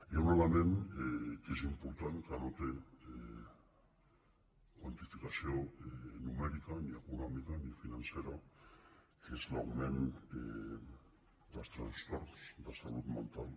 hi ha un element que és important que no té quanti·ficació numèrica ni econòmica ni financera que és l’augment dels trastorns de salut mental